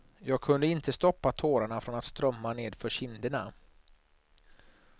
Jag kunde inte stoppa tårarna från att strömma nedför kinderna.